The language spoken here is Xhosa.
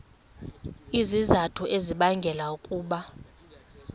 izizathu ezibangela ukuba